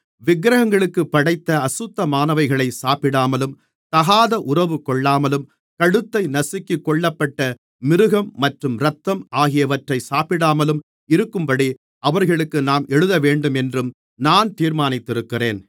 விக்கிரகங்களுக்குப் படைத்த அசுத்தமானவைகளை சாப்பிடாமலும் தகாத உறவு கொள்ளாமலும் கழுத்தை நசுக்கிக் கொல்லப்பட்ட மிருகம் மற்றும் இரத்தம் ஆகியவற்றை சாப்பிடாமலும் இருக்கும்படி அவர்களுக்கு நாம் எழுதவேண்டுமென்றும் நான் தீர்மானிக்கிறேன்